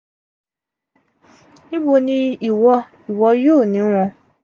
nibo ni iwo iwo yoo ni won?